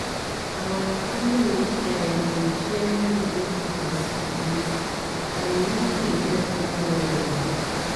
our clinic um dey share free info on syphilis [breathes in] and e really dey help well well um